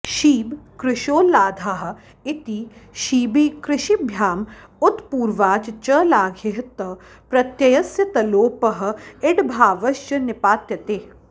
क्षीबकृशोल्लाधाः इति क्षीबिकृशिभ्याम् उत्पूर्वाच् च लाघेः क्त प्रत्ययस्य तलोपः इडभावश्च निपात्यते